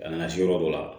Ka na se yɔrɔ dɔ la